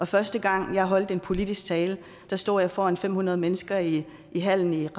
første gang jeg holdt en politisk tale stod jeg foran fem hundrede mennesker i i hallen i